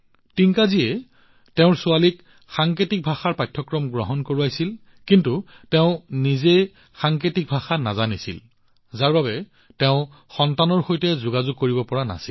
টিংকাজীয়ে তেওঁৰ ছোৱালীক সাংকেতিক ভাষাৰ পাঠ্যক্ৰম গ্ৰহণ কৰিবলৈ বাধ্য কৰিছিল কিন্তু তেওঁ নিজে সাংকেতিক ভাষা নাজানিছিল যাৰ বাবে তেওঁ নিজৰ সন্তানৰ সৈতে কথা পাতিব নোৱাৰিছিল